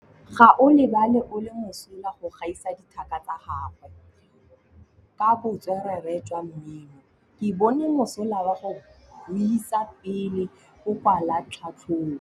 Gaolebalwe o mosola go gaisa dithaka tsa gagwe ka botswerere jwa mmino. Ke bone mosola wa go buisa pele o kwala tlhatlhobô.